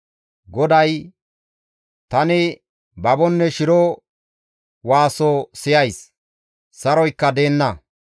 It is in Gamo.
GODAY, «Tani babonne shiro waaso siyays; saroykka deenna.